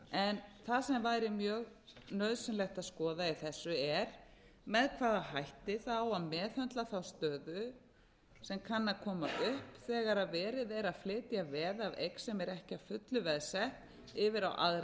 en það sem væri mjög nauðsynlegt að skoða í þessu er með hvaða hætti það á að meðhöndla þá stöðu sem kann að koma upp þegar verið er að flytja veð af eign sem er ekki að fullu veðsett yfir á aðra